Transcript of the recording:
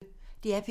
DR P1